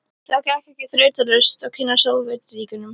Það gekk ekki þrautalaust að kynnast Sovétríkjunum.